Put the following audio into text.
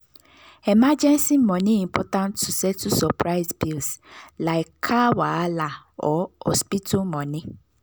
emergency money important to settle surprise bills like car wahala or hospital money.